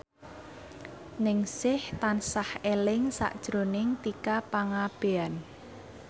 Ningsih tansah eling sakjroning Tika Pangabean